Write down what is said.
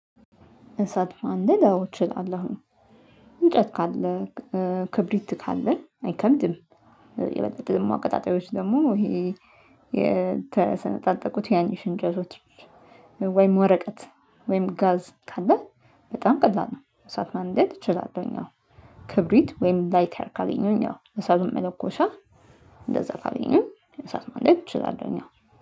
እሳት ማንደድ አዎ እችላለሁኝ። እንጨት ካለ ክብሪት ካለን አይከብድም። የበለጠ ደግሞ አቀጣጣዮች ደግሞ ይሄ የተሰነጣጠቁት ትናንሽ እንጨቶች ወይም ወረቀት ወይም ጋዝ ካለ በጣም ቀላል ነው። እሳት ማንደድ እችላለሁኝ አዎ። ወይም ላይተር ካገኙኝ እሳቱን መለኮሻ እንደዛ ካገኙኝ እሳት ማለቅ እችላለሁኝ።